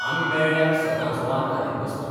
आमी मेळ्ळ्यार सदांच वाद घालीत बसतात.